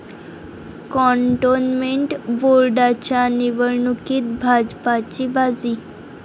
cantonment बोर्डाच्या निवडणुकीत भाजपाची बाजी